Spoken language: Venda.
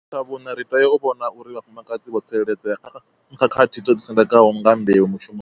Tsha vhuṋa, ri tea u vhona uri vhafumakadzi vho tsireledzea kha khakhathi dzo ḓisendekaho nga mbeu mushumoni.